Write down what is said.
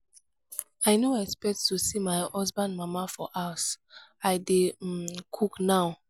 i no expect to see my husband mama for house i dey um cook now.